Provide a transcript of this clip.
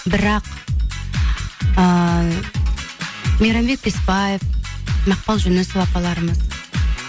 бірақ ыыы мейрамбек беспаев мақпал жүнісова апаларымыз